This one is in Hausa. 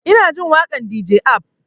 Ina jin waƙan dj ab